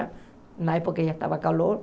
Na época já estava calor.